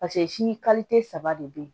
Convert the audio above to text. paseke si saba de be yen